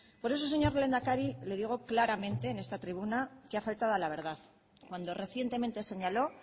por eso señor lehendakari le digo claramente en esta tribuna que ha faltado a la verdad cuando recientemente señaló